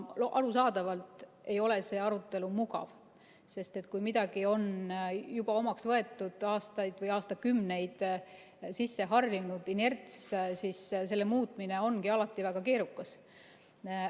Arusaadavalt ei ole see arutelu mugav, sest kui midagi on juba omaks võetud, aastate või aastakümnetega on sisse harjunud inerts, siis selle muutmine ongi alati väga keerukas.